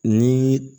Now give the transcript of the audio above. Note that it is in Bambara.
Ni